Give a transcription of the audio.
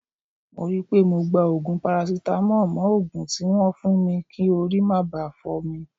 Mo ri pe mo gba ogun parasitamo mo ogun tibwon fun mi ki ori ma ba fo mi.